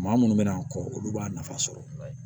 Maa munnu bɛna kɔ olu b'a nafa sɔrɔ